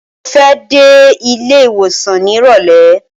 Mo fẹ́ dé ilé ìwòsàn nírọ̀lẹ́.